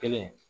Kelen